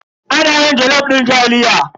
Ana yin jalof din taliya.